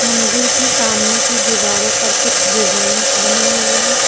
मंदिर के सामने की दीवारों पर कुछ डिजाइन बनी हुई हैं।